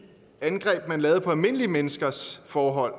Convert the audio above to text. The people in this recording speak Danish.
angreb man lavede på almindelige menneskers forhold